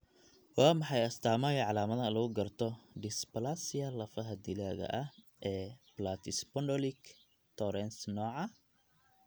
Waa maxay astamaha iyo calaamadaha lagu garto dysplasia lafaha dilaaga ah ee Platyspondylic Torrance nooca?